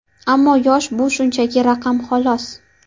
Ammo yosh bu shunchaki raqam, xolos.